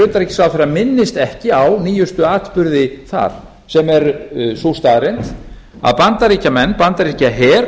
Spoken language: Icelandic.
utanríkisráðherra minnist ekki á nýjustu atburði þar sem er sú staðreynd að bandaríkjamenn bandaríkjaher